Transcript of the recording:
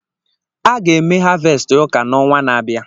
A ga-eme havẹsti ụka n'ọnwa na-abịa.